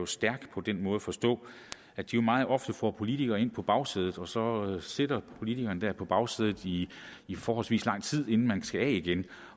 stærk på den måde at forstå at de meget ofte får politikere ind på bagsædet og så sidder man politiker der på bagsædet i forholdsvis lang tid inden man skal af igen